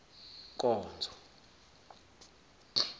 nkonzo